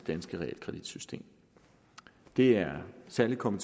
danske realkreditsystem det er særlig kommet